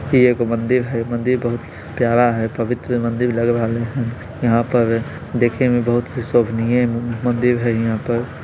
ई एक मंदिर हई मंदिर बहुत प्यारा हई पवित्र मंदिर लग रहा हई यहाँ पर देखने मे बहुत शोभनीय मम मंदिर हई यहाँ पर --